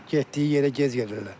Getdiyi yerə gec gedirlər.